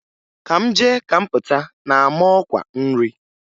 Ka m jee ka m Pụta na-ama ọkwa nri.